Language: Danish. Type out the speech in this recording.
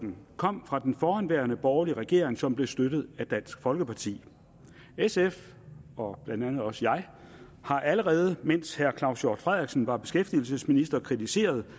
kom fra den forhenværende borgerlige regering som blev støttet af dansk folkeparti sf og blandt andet også jeg har allerede mens herre claus hjort frederiksen var beskæftigelsesminister kritiseret